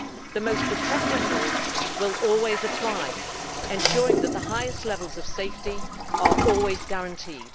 The most protective rules will always apply, ensuring that the highest levels of safety are always guaranteed.